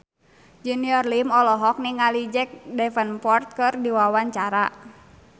Junior Liem olohok ningali Jack Davenport keur diwawancara